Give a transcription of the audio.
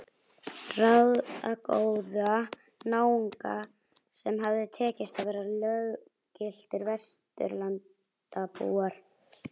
Ráðagóða náunga sem hafði tekist að verða löggiltir Vesturlandabúar.